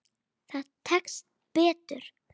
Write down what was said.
Það tekst betur.